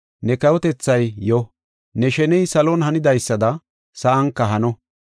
Ne kawotethay yo, ne sheney salon hanidaysada sa7anka hano.